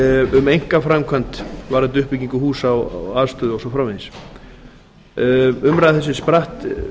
um einkaframkvæmd varðandi uppbyggingu húsa og aðstöðu og svo framvegis umræða þessi spratt